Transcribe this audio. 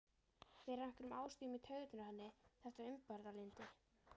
Fer af einhverjum ástæðum í taugarnar á henni þetta umburðarlyndi.